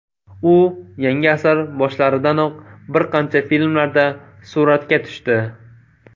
U yangi asr boshlaridanoq bir qancha filmlarda suratga tushdi.